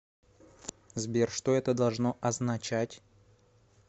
сбер что это должно означать